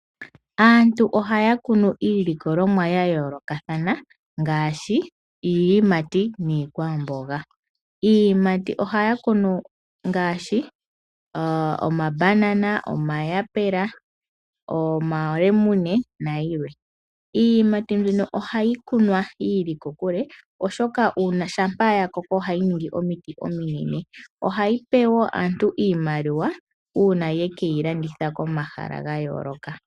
Aantu ohaya kunu iilikolomwa ya yoolokathana ngaashi iiyimati niikwamboga. Iiyimati ohaya kunu ngaashi omabanana, omayapela, omalemune nayilwe. Iiyimati mbino ohayi kunwa yi ili kokule, oshoka shampa ya koko ohayi ningi omiti ominene . Ohayi pe wo naantu iimaliwa uuna ye ke yi landitha komahala ga yooloka.